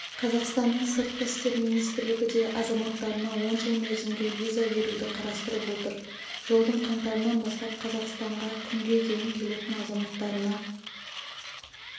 қазақстанның сыртқы істер министрлігі де азаматтарына он жыл мерзімге виза беруді қарастырып отыр жылдың қаңтарынан бастап қазақстанға күнге дейін келетін азаматтарына